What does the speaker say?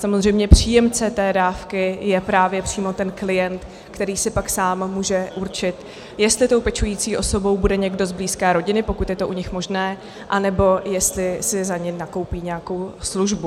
Samozřejmě příjemce té dávky je právě přímo ten klient, který si pak sám může určit, jestli tou pečující osobou bude někdo z blízké rodiny, pokud je to u nich možné, anebo jestli si za ně nakoupí nějakou službu.